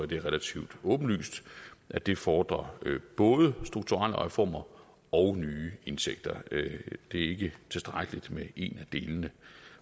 det er relativt åbenlyst at det fordrer både strukturelle reformer og nye indtægter det er ikke tilstrækkeligt med en af delene